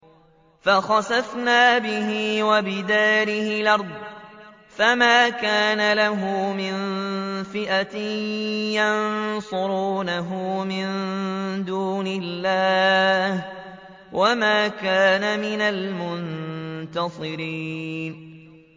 فَخَسَفْنَا بِهِ وَبِدَارِهِ الْأَرْضَ فَمَا كَانَ لَهُ مِن فِئَةٍ يَنصُرُونَهُ مِن دُونِ اللَّهِ وَمَا كَانَ مِنَ الْمُنتَصِرِينَ